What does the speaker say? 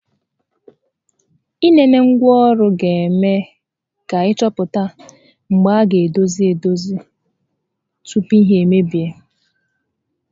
Ị nenengwa ọrụ ga eme ka ị chọpụta ebe a gá edozi edozi tupu ihe emebie